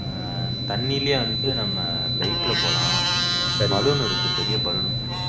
ஆஹ் தண்ணிலையே வந்துட்டு நம்ம bike ல போலாம் balloon இருக்கு பெரிய balloon இருக்கு